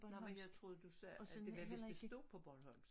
Nej men jeg troede du sagde at det var hvis det stod på bornholsmsk